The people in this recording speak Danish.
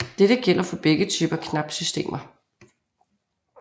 Dette gælder for begge typer knapsystemer